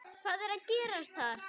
Hvað er að gerast þar?